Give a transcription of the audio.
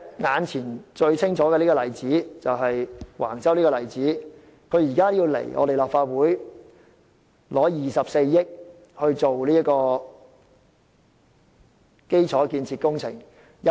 運輸及房屋局現時向立法會申請24億元撥款，以進行第1期基礎建設工程。